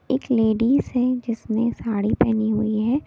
एक लेडीज है जिसने साड़ी पहनी हुई है।